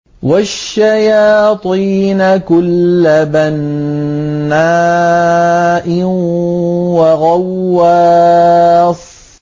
وَالشَّيَاطِينَ كُلَّ بَنَّاءٍ وَغَوَّاصٍ